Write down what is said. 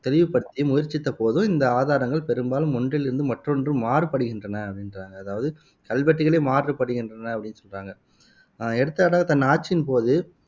தெளிவுபடுத்தி முயற்சித்த போது இந்த ஆதாரங்கள் பெரும்பாலும் ஒன்றிலிருந்து மற்றொன்று மாறுபடுகின்றன அப்படின்றாங்க அதாவது கல்வெட்டுக்களே மாறுபடுகின்றன அப்படின்னு சொல்றாங்க எடுத்துக்காட்டாக தன் ஆட்சியின் போது